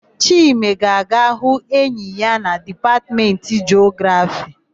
Chime ga-aga ịhụ enyi ya na Dipatmentị Jiografii.